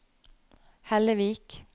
Hellevik